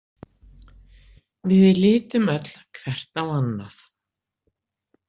Við litum öll hvert á annað.